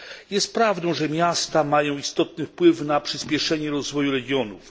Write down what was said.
Jest prawdą, że miasta mają istotny wpływ na przyspieszenie rozwoju regionów.